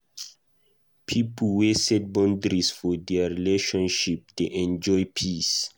Pipo wey set boundaries for their relationship dey enjoy peace.